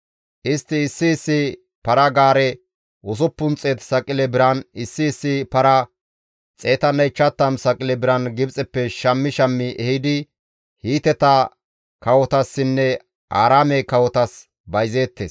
Istti issi issi para-gaare 600 saqile biran, issi issi para 150 saqile biran Gibxeppe shammi shammi ehidi Hiiteta kawotassinne Aaraame kawotas bayzeettes.